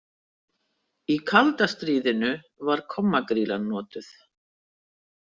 Í kalda stríðinu var kommagrýlan notuð.